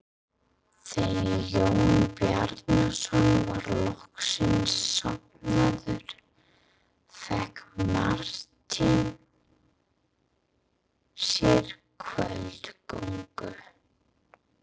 Þegar Jón Bjarnason var loksins sofnaður fékk Marteinn sér kvöldgöngu.